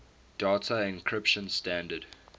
data encryption standard